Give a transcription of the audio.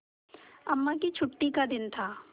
अम्मा की छुट्टी का दिन था